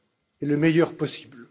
et le meilleur possible.